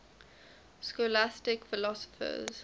scholastic philosophers